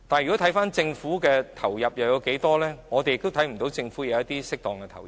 至於政府在器官移植上投入了多少資源，我們也看不到政府有適當的投入。